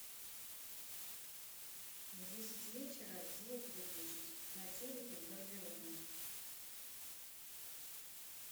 в десять вечера звук выключить на телике в гардеробной